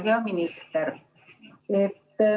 Hea minister!